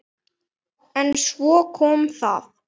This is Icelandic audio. En svo kom það.